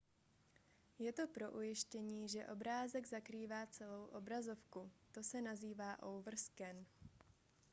je to pro ujištění že obrázek zakrývá celou obrazovku to se nazývá overscan